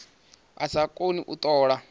a sa koni u tola